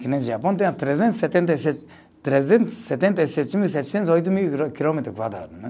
Japão tem trezentos e setenta e sete, trezentos e setenta e sete mil setecentos e oito mil quilômetros quadrados, né.